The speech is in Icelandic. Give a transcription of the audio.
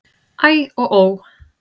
Æ og ó!